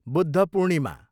Buddha Purnima